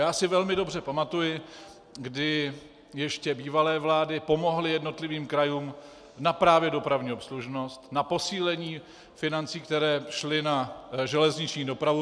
Já si velmi dobře pamatuji, kdy ještě bývalé vlády pomohly jednotlivým krajům právě na dopravní obslužnost, na posílení financí, které šly na železniční dopravu.